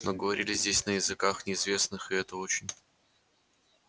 но говорили здесь на языках неизвестных и это очень